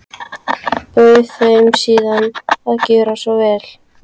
Bauð þeim síðan að gjöra svo vel.